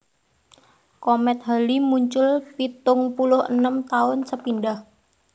Komèt Halley muncul pitung puluh enem taun sepindhah